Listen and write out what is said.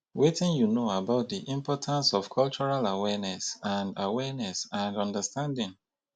wetin you know about di importance of cultural awareness and awareness and understanding?